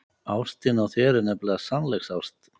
Ástin á þér er nefnilega sannleiksást.